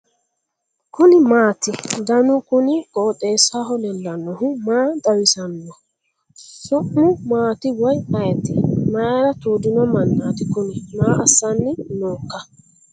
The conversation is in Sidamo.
kuni maati ? danu kuni qooxeessaho leellannohu maa xawisanno su'mu maati woy ayeti ? mayra tuudino mannati kuni maa assanni nooika ?